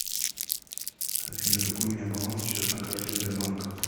афина какой у меня баланс сейчас на карте сбербанка